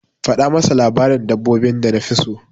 Faɗa masa labarin dabbobin da nafi so.